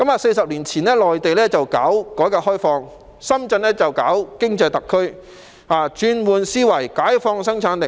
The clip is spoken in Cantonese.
四十年前，內地進行改革開放，深圳則發展經濟特區，轉換思維，解放生產力。